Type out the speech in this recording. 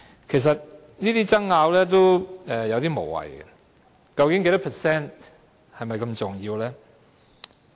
其實，這些爭拗有點無謂，究竟有關百分比是否如此重要呢？